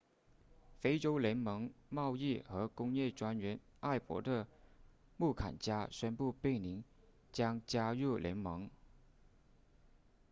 非洲联盟贸易和工业专员艾伯特穆坎加宣布贝宁将加入联盟